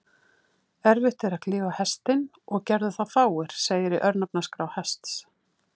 Erfitt er að klífa Hestinn, og gerðu það fáir, segir í örnefnaskrá Hests.